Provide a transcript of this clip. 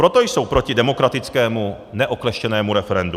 Proto jsou proti demokratickému, neokleštěnému referendu.